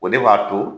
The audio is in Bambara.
O de b'a to